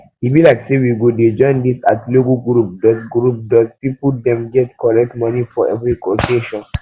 e be like say we go dey join this atilogwu group doz group doz people dey get correct money for every occasion